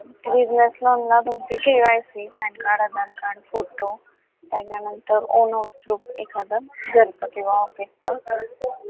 business loan ला तुमची KYCPAN card, AADHAAR card, photo त्याच्यानंतर income proof एखादं घरचं किंवा office च